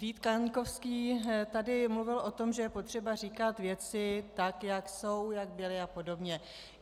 Vít Kaňkovský tady mluvil o tom, že je potřeba říkat věci tak, jak jsou, jak byly a podobně.